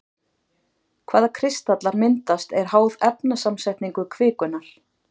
Hvaða kristallar myndast er háð efnasamsetningu kvikunnar.